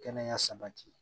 Kɛnɛya sabati